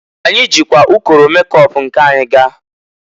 Anyị jikwa ụkọrọ mekop nke anyị gaa.